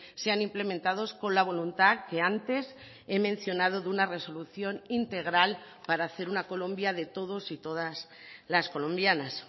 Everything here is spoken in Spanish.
sean implementados con la voluntad que antes he mencionado de una resolución integral para hacer una colombia de todos y todas las colombianas